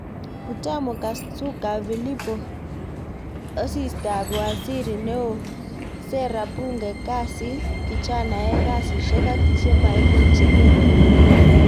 Butamo KasukaPhillipo-Osisitab Waziri Neoo, Sera, Bunge, Kasit, Kijanaek, Kasishek ak chemaimuchekei